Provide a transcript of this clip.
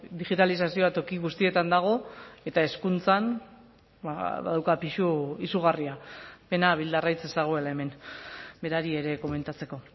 digitalizazioa toki guztietan dago eta hezkuntzan badauka pisu izugarria pena bildarratz ez dagoela hemen berari ere komentatzeko